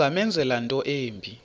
ungamenzela into embi